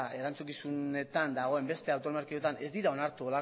erantzukizunetan dagoen beste autonomia erkidegoetan ez dira onartu